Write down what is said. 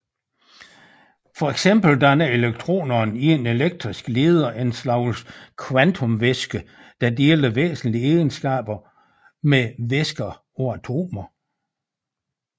For eksempel danner elektronerne i en elektrisk leder en slags kvantumvæske der deler væsentlige egenskaber med væsker af atomer